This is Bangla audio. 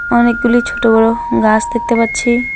অনেকগুলি ছোট বড় গাস দেখতে পাচ্ছি।